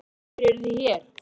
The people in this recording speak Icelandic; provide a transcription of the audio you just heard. Lóa: Af hverju eruð þið hér?